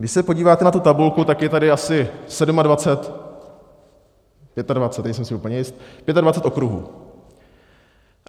Když se podíváte na tu tabulku, tak je tady asi 27... 25, nejsem si úplně jist - 25 okruhů.